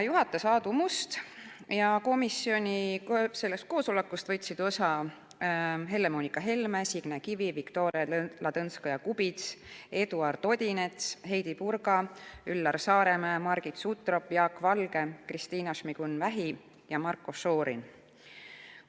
Juhatas Aadu Must ja komisjoni koosolekust võtsid osa Helle-Moonika Helme, Signe Kivi, Viktoria Ladõnskaja-Kubits, Eduard Odinets, Heidy Purga, Üllar Saaremäe, Margit Sutrop, Jaak Valge, Kristina Šmigun-Vähi ja Marko Šorin.